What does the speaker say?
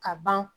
Ka ban